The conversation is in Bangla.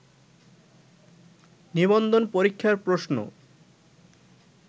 নিবন্ধন পরীক্ষার প্রশ্ন